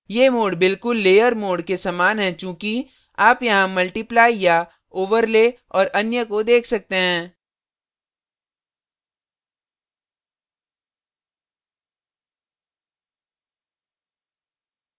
ये modes बिल्कुल layer modes के समान है चूँकि आप यहाँ multiply multiply या overlay overlay और अन्य को देख सकते हैं